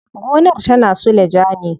Gonar tana suleja ne.